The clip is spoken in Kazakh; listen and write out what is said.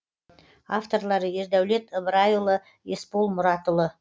авторлары ердәулет ыбырайұлы есбол мұратұлы